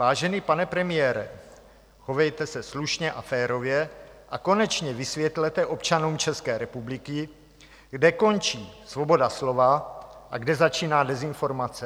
Vážený pane premiére, chovejte se slušně a férově a konečně vysvětlete občanům České republiky, kde končí svoboda slova a kde začíná dezinformace.